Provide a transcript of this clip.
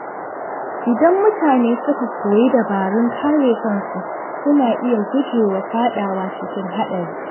Idan mutane suka koyi dabarun kare kansu, suna iya gujewa fadawa cikin haɗari.